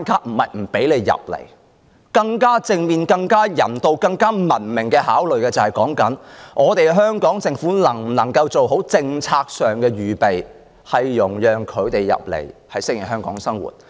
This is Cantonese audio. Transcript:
我們應從更正面、更人道、更文明的方面考慮，香港政府能否做好政策上的預備，容讓他們移民後適應香港的生活？